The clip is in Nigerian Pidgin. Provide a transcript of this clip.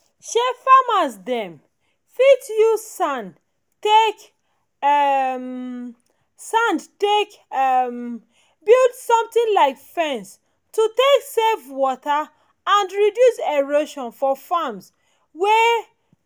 um farmers dem fit use sand take um sand take um build something like fence to take save water and reduce erosion for farms wey